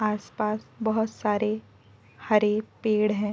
आसपास बहोत सारे हरे पेड़ हैं।